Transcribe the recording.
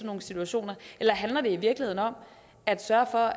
nogle situationer eller handler det i virkeligheden om at sørge for